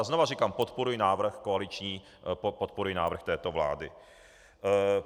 A znova říkám: podporuji návrh koaliční, podporuji návrh této vlády.